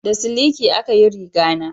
Da siliki a ka riga na